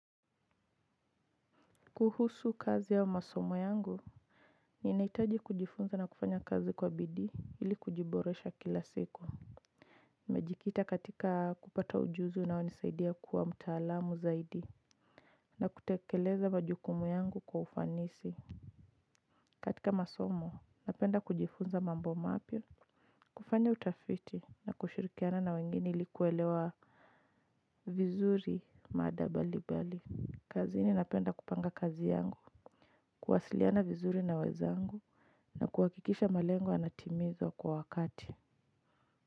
Kuhusu kazi au masomo yangu, ninahitaji kujifunza na kufanya kazi kwa bidi ili kujiboresha kila siku. Nimejikita katika kupata ujuzi unao nisaidia kuwa mtaalamu zaidi na kutekeleza majukumu yangu kwa ufanisi. Katika masomo, napenda kujifunza mambo mapya, kufanya utafiti na kushurikiana na wengine ili kuelewa vizuri mada mbalimbali. Kazini napenda kupanga kazi yangu, kuwasiliana vizuri na wenzangu. Na kuhakikisha malengo yanatimizwa kwa wakati.